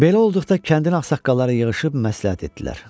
Belə olduqda kəndin ağsaqqalları yığışıb məsləhət etdilər.